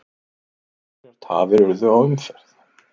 Einhverjar tafir urðu á umferð